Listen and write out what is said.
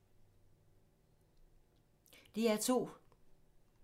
DR2